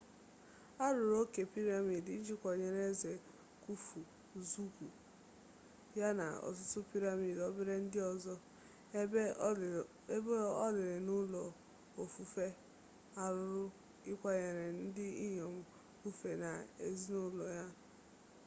arụrụ oke piramid iji kwanyere eze khufu zugwu ya na ọtụtụ piramid obere ndị ọzọ ebe olili na ụlọ ofufe arụrụ ịkwanyere ndị inyom khufu na ezinụlọ ya ugwu